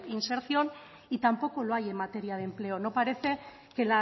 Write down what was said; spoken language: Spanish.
inserción y tampoco lo hay en materia de empleo no parece que